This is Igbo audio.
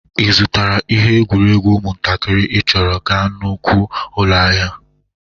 Ị zụtakwara ihe egwueregwu ụmụntakịrị ị chọrọ ga nnukwu ụlọ ahịa?